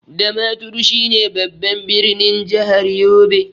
Damaturu shine babban ɓirnin jahar yobe.